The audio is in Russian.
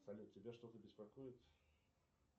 салют тебя что то беспокоит